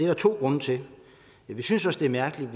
der to grunde til vi synes det er mærkeligt at